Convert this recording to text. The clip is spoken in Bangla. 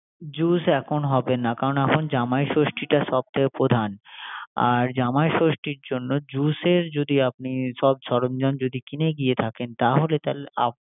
জুস এখন হবে না। কারন এখন জামাই ষষ্ঠিটা সবচেয়ে প্রধান। আর জামানই ষষ্টির জন্য জুসের জন্য যদি আপনি সব সরঞ্জাম কিনে গিয়ে থাকেন। তাহলে আপনি